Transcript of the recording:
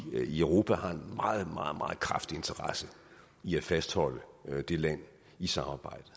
i europa har en meget meget kraftig interesse i at fastholde det land i samarbejdet